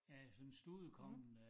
Ja sådan studekongen øh